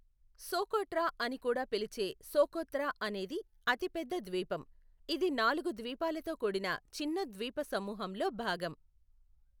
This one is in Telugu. సోకోట్రా అని కూడా పిలిచే సోకోత్రా అనేది అతిపెద్ద ద్వీపం, ఇది నాలుగు ద్వీపాలతో కూడిన చిన్న ద్వీప సమూహంలో భాగం.